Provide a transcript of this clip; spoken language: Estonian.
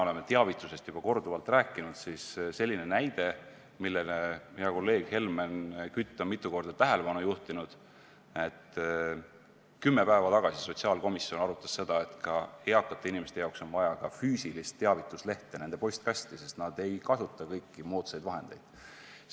Oleme täna juba korduvalt rääkinud teavitamisest ning hea kolleeg Helmen Kütt on mitu korda juhtinud tähelepanu sellele, kuidas kümme päeva tagasi arutas sotsiaalkomisjon seda, et eakatele inimestele on vaja toimetada postkasti füüsiline teavitusleht, sest nad ei kasuta moodsaid sidevahendeid.